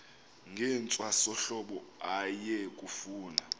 ngentwasahlobo aye kufuna